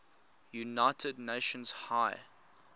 united nations high